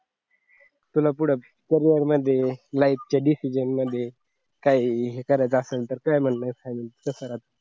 तुला पुढ करियर मध्ये life च्या decision मध्ये काही हे करायचं असेल काही म्हणलं झालं कसं